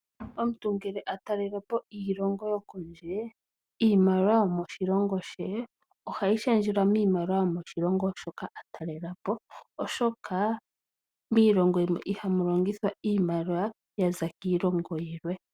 Omuntu ngele ta talele po miilongo yilwe iimaliwa yomoshilongo she ohayi shendjelwa miimaliwa yomoshilongo hoka ta talele po, oshoka miilongo oyindji ihamu longithwa iimaliwa yiilongo iikwawo.